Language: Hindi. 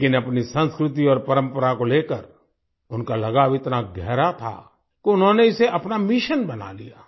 लेकिन अपनी संस्कृति और परम्परा को लेकर उनका लगाव इतना गहरा था कि उन्होंने इसे अपना मिशन बना लिया